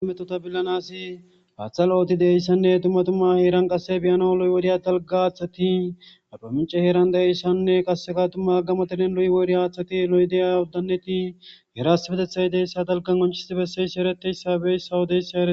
Metota billanasi haaththa looti de7ssanne dumma duma heeran qasse biyano loy woriya dalgga haaththati arbamincce heeran da7eissanne. qasseka tumma gamo deren loy woriya haaththati lo7de7a uddanneti heerasbetethay deeyssa talgan qoncisti besseysi ereteyssabey sawodeyssa ere.